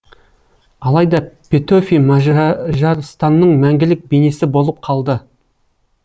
алайда петөфи мажарстанның мәңгілік бейнесі болып қалды